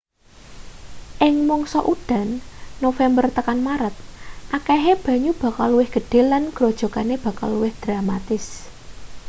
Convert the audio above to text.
ing mangsa udan november tekan maret akehe banyu bakal luwih gedhe lan grojogane bakal luwih dramatis